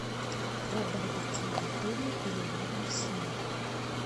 про барбекю в отеле или рядом с ним